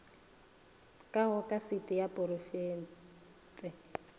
ka go kasete ya porofense